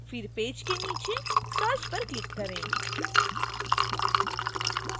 फिर पेज के नीचे search पर click करें